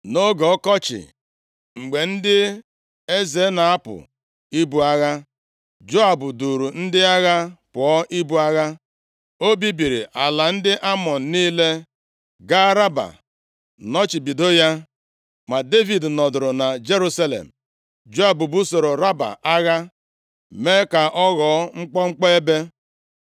Nʼoge ọkọchị, mgbe ndị eze na-apụ ibu agha, Joab duuru ndị agha pụọ ibu agha. O bibiri ala ndị Amọn niile, gaa Raba nọchibido ya, ma Devid nọdụrụ na Jerusalem. Joab busoro Raba agha, mee ka ọ ghọọ mkpọmkpọ ebe.